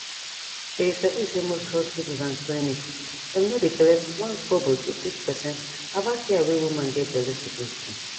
shey u sabi say most hospitals and clinics dem no dey collect onekobo to teach person about care wey woman get belle suppose do